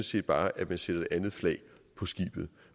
set bare at man sætter et andet flag på skibet